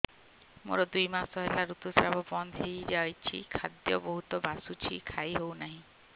ମୋର ଦୁଇ ମାସ ହେଲା ଋତୁ ସ୍ରାବ ବନ୍ଦ ହେଇଯାଇଛି ଖାଦ୍ୟ ବହୁତ ବାସୁଛି ଖାଇ ହଉ ନାହିଁ